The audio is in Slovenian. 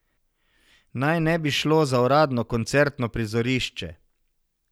Naj ne bi slo za uradno koncertno prizorišče.